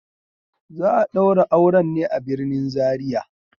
Za a daura auren ne a birnin Zaria.